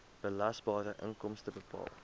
belasbare inkomste bepaal